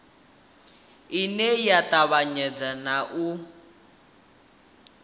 ine ya tevhedza na u